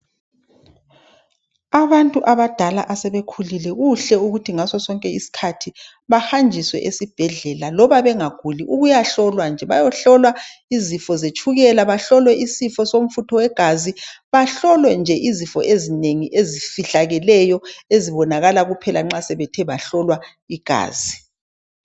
Abantu abadala asebekhulile kuhle ukuthi ngasosonke isikhathi bahanjiswe esibhedlela loba bengaguli ukuyahlolwa nje bayohlolwa izifo zetshukela bahlolwe isifo somfutho wegazi bahlolwe nje izifo ezinengi ezifihlakeleyo ezibonakala kuphela nxa sebethe bahlolwa igazi.